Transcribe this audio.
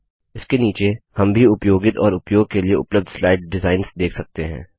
इसके नीचे हम भी उपयोगित और उपयोग के लिए उपलब्ध स्लाइड डिजाइन्स देख सकते हैं